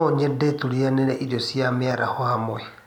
No nyende tũrĩanîre ĩrĩo cia mĩaraho hamwe